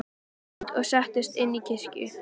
Þeir gengu út og settust inn í kirkju.